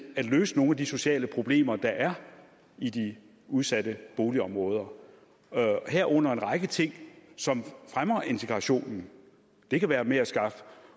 at løse nogle af de sociale problemer der er i de udsatte boligområder herunder en række ting som fremmer integrationen det kan være med at skaffe